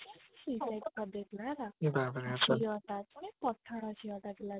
switch off କରିଦେଇଥିଲା ହେଲା ପତଳା ଝିଅ ତା ଥିଲା